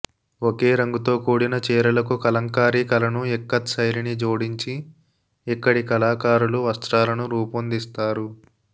ఒకే రంగుతో కూడిన చీరలకు కలంకారీ కళను ఇక్కత్ శైలిని జోడించి ఇక్కడి కళాకారులు వస్త్రాలను రూపొందిస్తారు